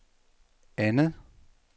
andet